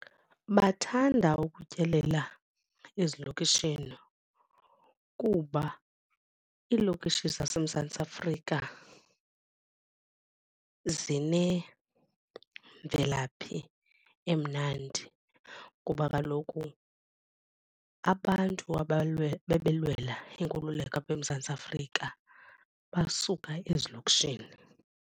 Bathanda ukutyelela ezilokishini kuba iilokishi zaseMzantsi Afrika zinemvelaphi emnandi kuba kaloku abantu babelwela inkululeko apha eMzantsi Afrika basuka ezilokishini.